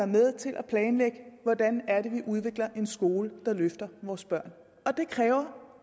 med til at planlægge hvordan vi udvikler en skole der løfter vores børn og det kræver